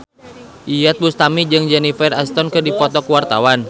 Iyeth Bustami jeung Jennifer Aniston keur dipoto ku wartawan